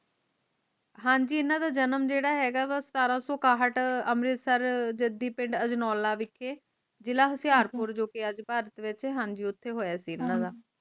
ਹਾਂਜੀ ਇਹਨਾਂ ਦਾ ਜਨਮ ਜੇਦਾ ਹੇਗਾ ਸਤਰਾਂ ਸੋ ਇਕਾਠ ਅੰਮ੍ਰਿਤਸਰ ਜਾਗਦੀ ਪਿੰਡ ਅਜਨੋਲਾ ਜਿਲਾ ਹੋਸ਼ਿਆਰਪੁਰ ਜੋ ਕਿ ਅੱਜ ਭਾਰਤ ਵਿਚ